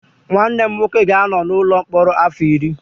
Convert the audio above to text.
Nwanne m nwoke ga-anọ n'ụlọ mkpọrọ afọ iri